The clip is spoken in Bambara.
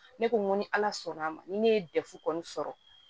Ne ko n ko ni ala sɔnn'a ma ni ne ye dɛfu kɔni sɔrɔ